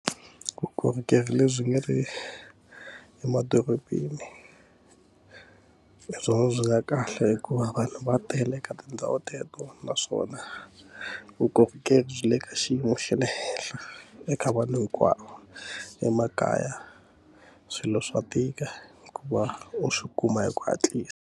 Vukorhokeri lebyi nga ri emadorobeni hi byona byi nga kahle hikuva vanhu va tele eka tindhawu teto naswona vukorhokeri byi le ka xiyimo xa le henhla eka vanhu hinkwavo emakaya swilo swa tika ku va u swi kuma hi ku hatlisa.